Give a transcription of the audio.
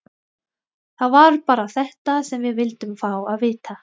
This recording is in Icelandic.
Það var bara þetta sem við vildum fá að vita.